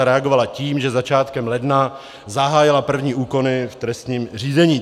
A reagovala tím, že začátkem ledna zahájila první úkony v trestním řízení.